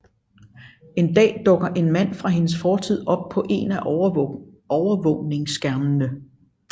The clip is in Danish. En dag dukker en mand fra hendes fortid op på en af overvågningsskærmene